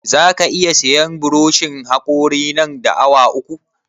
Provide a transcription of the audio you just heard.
Za ka iya sayan buroshin haƙorin nan da awa uku?